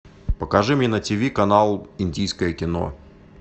покажи мне на тиви канал индийское кино